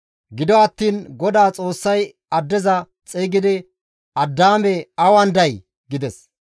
Gido attiin GODAA Xoossay addeza xeygidi, «Addaame awan day?» gides.